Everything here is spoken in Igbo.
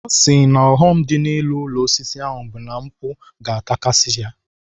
Ọ sị na ọghọm ga-adị n'ịrụ ụlọ osisi ahụ bụ na mkpu ga-atakasị ya.